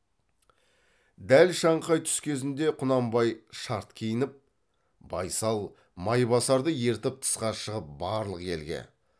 дәл шаңқай түс кезінде құнанбай шарт киініп байсал майбасарды ертіп тысқа шығып барлық елге